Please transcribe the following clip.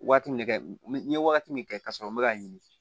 Waati min kɛ n ye wagati min kɛ ka sɔrɔ n bɛ ka ɲini